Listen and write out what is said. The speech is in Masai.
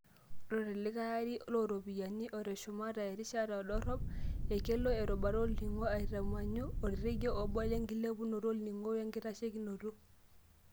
Ore tolikae are looropiyiani oteshumata erishata e drop, ekelo erubata olningo aitamanyu orekia obo lenkilepunoto olning'o wenkitashekinoto.